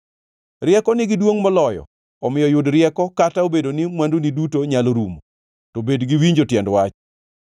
Rieko nigi duongʼ moloyo, omiyo yud rieko. Kata obedo ni mwanduni duto nyalo rumo, to bed gi winjo tiend wach.